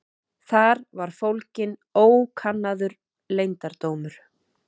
Þar var fólginn ókannaður leyndardómur.